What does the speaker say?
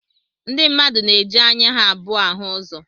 Ndi mmadụ na-eji anya ha abụọ áhù ụzọ